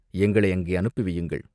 எங்களை அங்கே அனுப்பி வையுங்கள்.